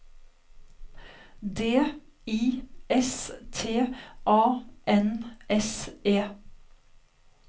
D I S T A N S E